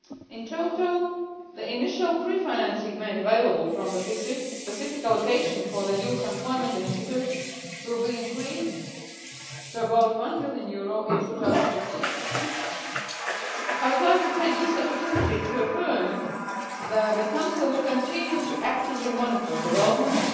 In total, the initial pre financing made available from the specific allocation for the Youth Employment Initiative will be increased to about EUR 1 billion in 2015. I would like to take this opportunity to reaffirm that the Council will continue to actively monitor developments